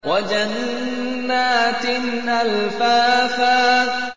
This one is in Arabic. وَجَنَّاتٍ أَلْفَافًا